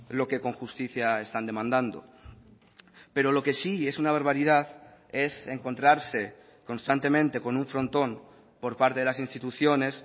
lo que con justicia están demandando pero lo que sí es una barbaridad es encontrarse constantemente con un frontón por parte de las instituciones